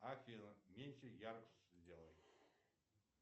афина меньше яркость сделай